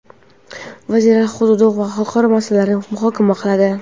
Vazirlar hududiy va xalqaro masalalarni muhokama qiladi.